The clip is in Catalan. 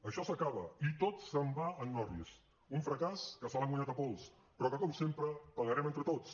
això s’acaba i tot se’n va en orris un fracàs que se l’han guanyat a pols però que com sempre pagarem entre tots